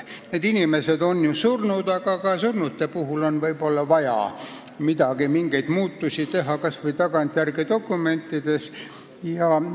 Need inimesed on muidugi surnud, aga ka surnute puhul on võib-olla vaja kas või tagantjärele dokumentides mingeid muudatusi teha.